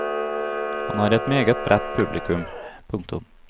Han har et meget bredt publikum. punktum